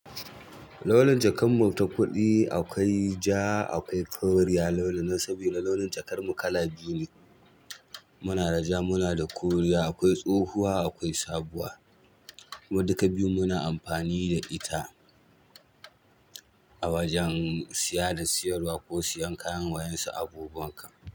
Launin jakar mu ta kuɗi akwai ja, akwai koriya launin nan saboda launin jakar mu kala biyu ne. Muna da ja, muna da koriya, akwai tsohuwa, akwai sabuwa. Mu duka biyun muna amfani da ita a wajen siya da siyarwa ko siyan kayan wayansa abubuwan kam.